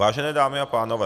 Vážené dámy a pánové.